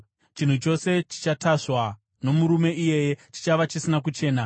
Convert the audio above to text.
“ ‘Chinhu chose chichatasvwa nomurume iyeye chichava chisina kuchena,